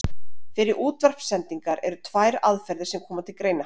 Fyrir útvarpssendingar eru tvær aðferðir sem koma til greina.